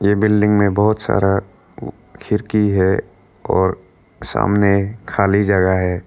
Building में बहुत सारा खिड़की है और सामने खाली जगह है।